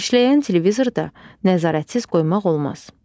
İşləyən televizorda nəzarətsiz qoymaq olmaz.